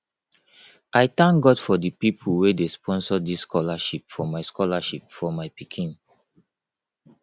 i thank god for the people wey sponsor dis scholarship for my scholarship for my pikin